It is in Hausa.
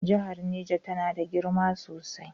Jihar Neja tana da girma sosai.